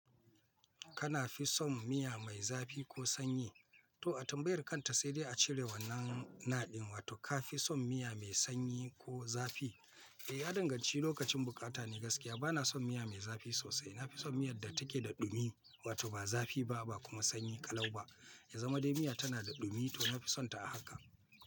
Kana fi son miya mai zafi ko sanyi? To a tambayar kanta sai dai a cire wannan na ɗin. Wato ka fi son miya mai sanyi ko zafi? Eh, ya danganci lokacin bukata ne gaskiya. Bana son miya mai zafi sosai. Na fi son miyar da take da ɗumi, wato ba zafi ba, ba kuma sanyi ƙalau ba. Ya zama dai miya tana da ɗumi to na fi sonta a haka.